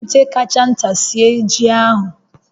Jiri ite kacha nta sie ji ahụ